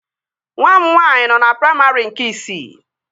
Nwa m nwaanyị nọ na praimarị nke isii